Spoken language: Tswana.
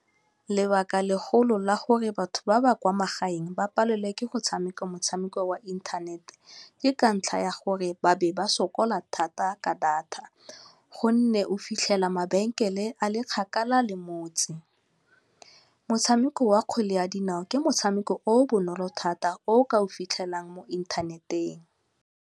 Lebaka le golo la gore batho ba ba kwa magaeng ba palelwe ke go tshameka motshameko wa inthanete, ke ka ntlha ya gore ba be ba sokola thata ka data go nne o fitlhela mabenkele a le kgakala le motse motshameko wa kgwele ya dinao ke motshameko o o bonolo thata o ka o fitlhelang mo inthaneteng.